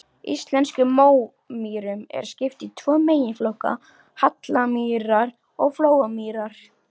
Íslenskum mómýrum er skipt í tvo meginflokka, hallamýrar og flóamýrar.